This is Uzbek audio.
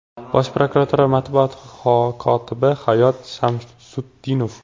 Bosh prokuratura matbuot kotibi Hayot Shamsutdinov.